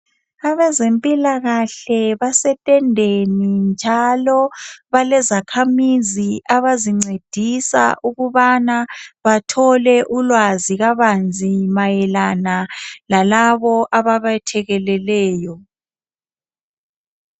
Abezempilakahle basetendeni njalo balezakhamizi abazincedisa ukubana bathole ulwazi kabanzi mayelana lalabo ababethekeleleyo.